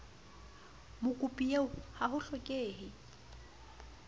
mokopi eo ha ho hlokehe